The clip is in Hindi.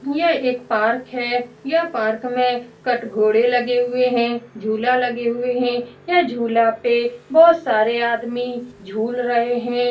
यह एक पार्क है यह पार्क में कटघरे लगे हुए हैं झुला लगे हुए है यह झुला पे बहुत सारे आदमी झूल रहे हैं ।